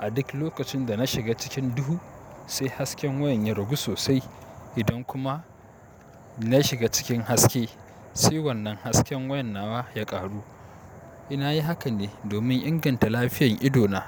A duk lokacin da na shiga cikin duhu, sai hasken wayan ya ragu sosai. Idan kuma na shiga cikin haske, sai wannan hasken wayan nawa ya ƙaru. Nayi haka ne domin inganta lafiyar ido na.